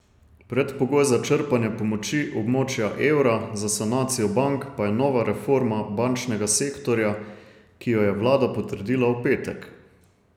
Predpogoj za črpanje pomoči območja evra za sanacijo bank pa je nova reforma bančnega sektorja, ki jo je vlada potrdila v petek.